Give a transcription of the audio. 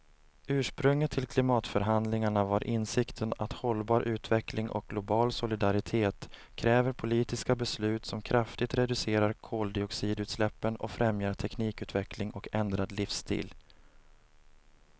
Ursprunget till klimatförhandlingarna var insikten att hållbar utveckling och global solidaritet kräver politiska beslut som kraftigt reducerar koldioxidutsläppen och främjar teknikutveckling och ändrad livsstil.